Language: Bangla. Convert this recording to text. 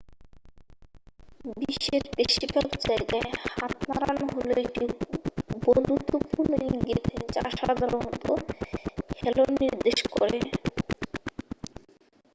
"বিশ্বের বেশিরভাগ জায়গায় হাত নাড়ানো হলো একটি বন্ধুত্বপূর্ণ ইঙ্গিত যা সাধারণত "হ্যালো" নির্দেশ করে।